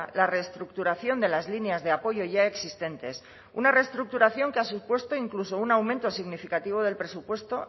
la reestructuración de las líneas de apoyo ya existentes una reestructuración que ha supuesto incluso un aumento significativo del presupuesto